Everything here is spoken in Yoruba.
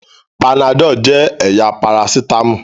Panadol jẹ́ ẹ̀yà parasítámọ̀.